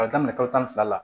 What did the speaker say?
K'a daminɛ kalo tan ni fila la